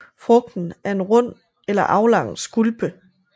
Frugten er en rund eller aflang skulpe